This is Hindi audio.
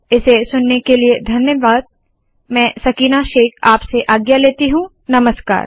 इसे सुनने के लिए धन्यवाद मैं सकीना शेख आपसे आज्ञा लेती हूँ नमस्कार